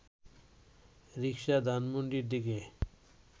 রিকশা ধানমন্ডির দিকে